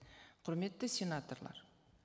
құрметті сенаторлар